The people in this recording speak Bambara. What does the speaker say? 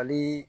Hali